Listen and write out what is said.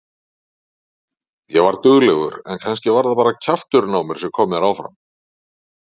Ég var duglegur en kannski var það bara kjafturinn á mér sem kom mér áfram.